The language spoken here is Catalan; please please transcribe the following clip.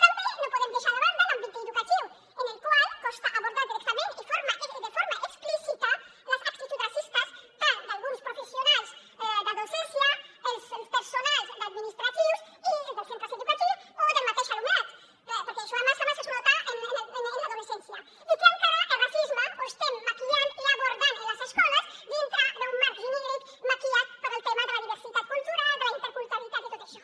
també no podem deixar de banda l’àmbit educatiu en el qual costa abordar directament i de forma explícita les actituds racistes d’alguns professionals de docència els personals d’administratius dels centres educatius o del mateix alumnat perquè això a més a més es nota en l’adolescència i que encara el racisme l’estem maquillant i abordant en les escoles dintre d’un marc genèric maquillat pel tema de la diversitat cultural de la interculturalitat i tot això